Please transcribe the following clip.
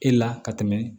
E la ka tɛmɛ